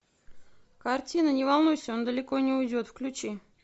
картина не волнуйся он далеко не уйдет включи